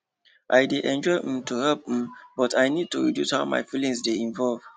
i de enjoy um to help um but i nid to reduce how my feelings dey involve